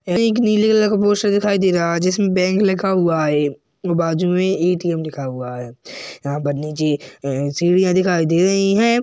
यह एक नीले कलर का पोस्टर दिखाई दे रहा है जिसमें बैंक लिखा हुआ है। ये बाजू में एटीएम लिखा हुआ है यहाँ पर नीचे ए-सीढ़िया दिखाई दे रही हैं।